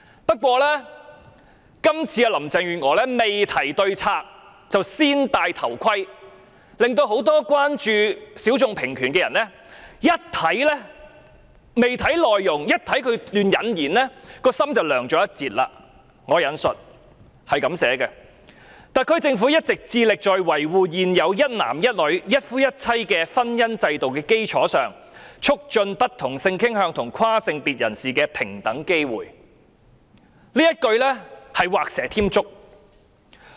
不過，林鄭月娥未提對策，"先戴頭盔"，令很多關注性小眾平權的人看到段落開頭，心已涼了一截，："特區政府一直致力在維護現有一男一女、一夫一妻的婚姻制度的基礎上，促進不同性傾向和跨性別人士的平等機會"，這一句是畫蛇添足。